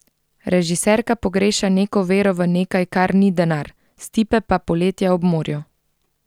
Režiserka pogreša neko vero v nekaj, kar ni denar, Stipe pa poletja ob morju.